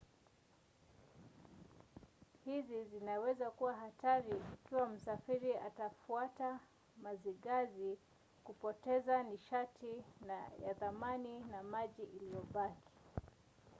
hizi zinaweza kuwa hatari ikiwa msafiri atafuata mazigazi kupoteza nishati ya thamani na maji iliyobaki